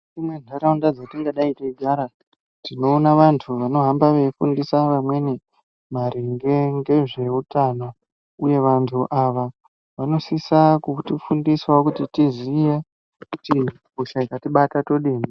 Mukati mwentaraunda dzatingadai teigara tinoona bantu vanohamba veitifundisa vamweni maringe ngezveutano uye banthu ava vanosisa kutifundisawo kuti tiziye kuti hosha ikatibata todini.